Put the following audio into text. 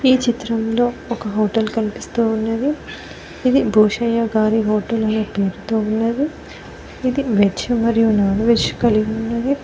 ఈ చిత్రంలో ఒక హోటల్ కనిపిస్తూ ఉన్నది. ఇది భూషయ్య గారి హోటల్ అనే పేరుతో ఉన్నది. ఇది వెజ్ మరియు నాన్ వెజ్ కలిగియున్నది.